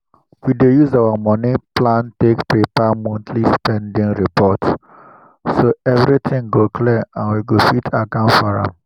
we dey use our moni plan take prepare monthly spending report so everything go clear and we go fit account for am